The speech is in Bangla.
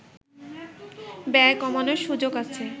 ব্যয় কমানোর সুযোগ আছে